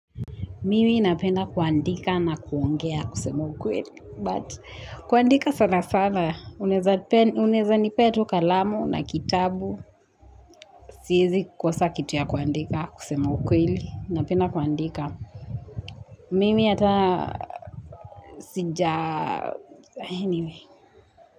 Mimi napenda kuandika na kuongea kusema ukweli. But, kuandika sana sana. Unaeza Unaeza nipea tu kalamu na kitabu. Siezi kosa kitu ya kuandika kusema ukweli. Napenda kuandika. Mimi hata sija Anyway.